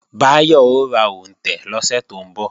Báyọ̀ ó ra òǹtẹ̀ lọ́sẹ̀ tó ń bọ̀